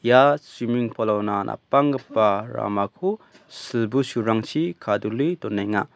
ia suiming pol ona napanggipa ramako silbusurangchi kadule donenga.